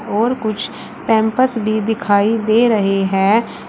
और कुछ पैंपर्स भी दिखाई दे रहे हैं।